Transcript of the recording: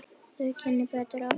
Þau kynni breyttu mínu lífi.